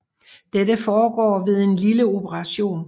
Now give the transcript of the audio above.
Dette foregår ved en lille operation